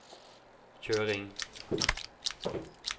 kjøring